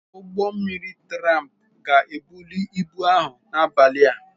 Ụgbọ mmiri tramp ga-ebuli ibu ahụ n'abalị a.